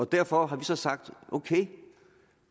derfor har vi så sagt ok